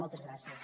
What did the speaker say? moltes gràcies